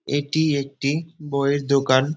এটি একটি বইয়ের দোকান।